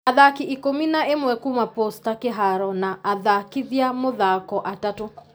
Athaki ikũmi na ĩmwe kuma posta kĩharo na athakithia mũthako atatũ